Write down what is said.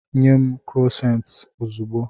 Nye m Krosant ozugbo.